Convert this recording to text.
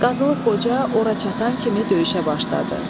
Qazılıq Qoca ora çatan kimi döyüşə başladı.